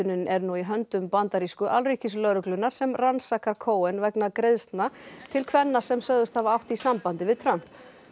hljóðritunin er nú í höndum fulltrúa bandarísku alríkislögreglunnar sem rannsakar Cohen vegna greiðslna til kvenna sem sögðust hafa átt í sambandi við Trump